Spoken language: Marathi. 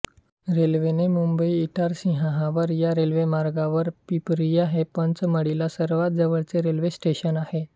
रेल्वेने मुंबईइटारसीहावरा या रेल्वेमार्गावर पिपरिया हे पंचमढीला सर्वांत जवळचे रेल्वे स्टेशन आहे